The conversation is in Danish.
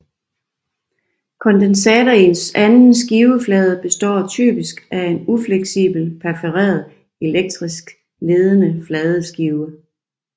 Kondensatorens anden skiveflade består typisk af en ufleksibel perforeret elektrisk ledende fladeskive